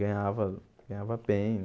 Ganhava ganhava bem.